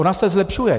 Ona se zlepšuje.